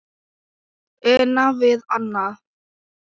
Una við annað.